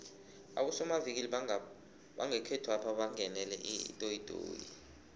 abosomavikili bangekhethwapha bangenele itoyitoyi